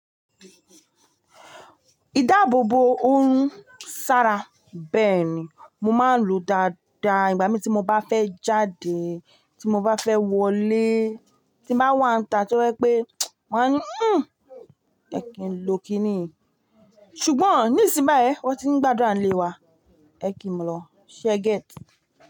Ìdáàbò bo ohun ṣara bẹ́ẹ̀ni, mo máa ń lo dáadáa ìgbà mí tí mo bá fẹ́ jáde, tí mo bá fẹ́ wọlé, tí bá wà àǹtà tí ó wípé wọ́n á ní "hhen, ẹ kìí lọ kíni", ṣùgbọ́n ní ìsìn bá ẹ, wọ́n ti ń gbàdúà ńlé wa. Ẹ kí n lọ, ṣe get.